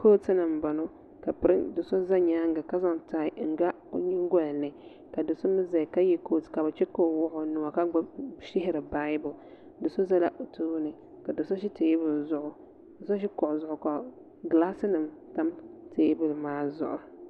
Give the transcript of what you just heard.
kootu ni n bɔŋɔ ka do so ʒɛ nyaanga ka zaŋ tai n ga o nyingoli ni ka do so mii ʒɛya ka yɛ kootu ka bi chɛ ka o wuɣi o nuwa ka shihiri baibul do so ʒɛla o tooni ka do so ʒi teebuli zuɣu ka so ʒi kuɣu zuɣu ka gilaas nim tam teebuli maa zuɣu